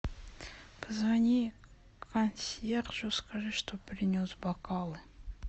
позвони консьержу скажи чтоб принес бокалы